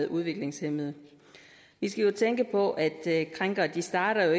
udviklingshæmmede vi skal jo tænke på at krænkere ikke starter